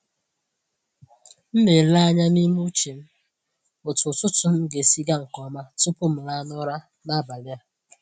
M na-ele anya n’ime uche m otú ụtụtụ m ga-esi gaa nke ọma tupu m laa n’ụra n’abalị a.